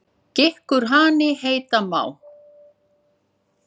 Gikkur hani heita má.